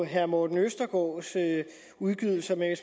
herre morten østergaards udgydelser men